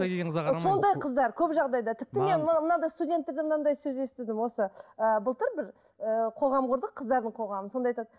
сондай қыздар көп жағдайда тіпті мен мына мынандай студенттерден мынандай сөз естідім осы ы былтыр бір ыыы қоғам құрдық қыздардың қоғамы сонда айтады